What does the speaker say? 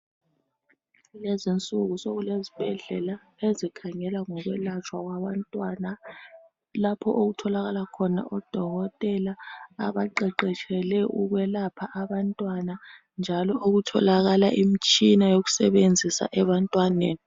Lezinsuku sokulezibhedlela ezikhangela ngokwelatshwa kwabantwana lapho okutholakala khona odokotela abaqeqetshele ukwelapha abantwana njalo okutholakala imitshina yokusebenzisa ebantwaneni